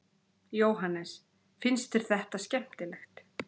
Jóhannes: Finnst þér þetta skemmtilegt?